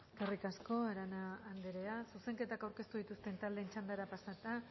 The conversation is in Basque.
eskerrik asko arana anderea zuzenketak aurkeztu dituzten taldeen txandara pasata